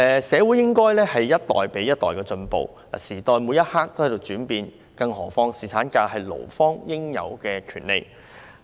社會應該一代比一代進步，時代每一刻也在改變，更何況侍產假是勞方應有的權利？